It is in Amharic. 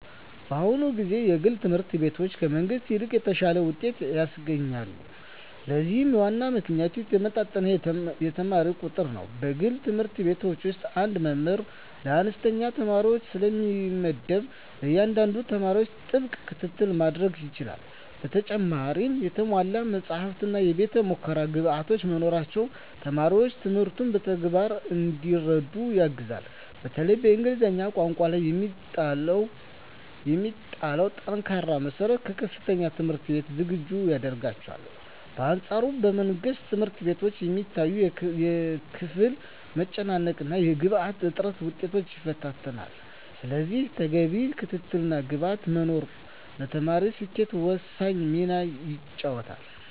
በአሁኑ ጊዜ የግል ትምህርት ቤቶች ከመንግሥት ይልቅ የተሻለ ውጤት ያስገኛሉ። ለዚህም ዋናው ምክንያት የተመጣጠነ የተማሪ ቁጥር ነው። በግል ትምህርት ቤቶች አንድ መምህር ለአነስተኛ ተማሪዎች ስለሚመደብ፣ ለእያንዳንዱ ተማሪ ጥብቅ ክትትል ማድረግ ይቻላል። በተጨማሪም የተሟሉ መጻሕፍትና የቤተ-ሙከራ ግብዓቶች መኖራቸው ተማሪዎች ትምህርቱን በተግባር እንዲረዱ ያግዛል። በተለይም በእንግሊዝኛ ቋንቋ ላይ የሚጣለው ጠንካራ መሠረት ለከፍተኛ ትምህርት ዝግጁ ያደርጋቸዋል። በአንፃሩ በመንግሥት ትምህርት ቤቶች የሚታየው የክፍል መጨናነቅና የግብዓት እጥረት ውጤታማነትን ይፈታተናል። ስለዚህ ተገቢው ክትትልና ግብዓት መኖሩ ለተማሪዎች ስኬት ወሳኝ ሚና ይጫወታል።